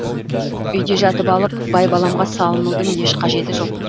үйде жатып алып байбаламға салынудың еш қажеті жоқ